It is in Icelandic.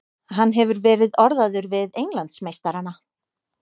Hann hefur verið orðaður við Englandsmeistarana.